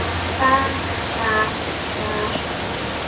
Hvað. hvað. hvar.